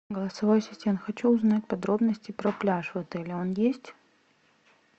голосовой ассистент хочу узнать подробности про пляж в отеле он есть